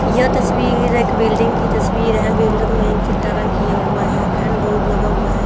यह तस्वीर एक बिल्डिंग की तस्वीर है बिल्डिंग में चिट्टा रंग किया हुआ है एंड बोर्ड लगा हुआ है।